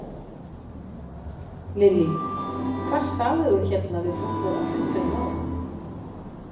Lillý: Hvað sagðir þú hérna við fólkið á fundinum áðan?